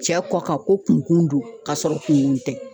Cɛ kɔ kan ko kun kun don ka sɔrɔ kun kun tɛ